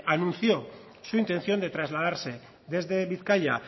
anunció su intención de trasladarse desde bizkaia